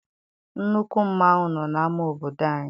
Nnukwu mmanwụ nọ n'ama obodo anyị.